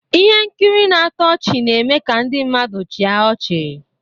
Ihe nkiri na-atọ ọchị na-eme ka ndị mmadụ chịa ọchị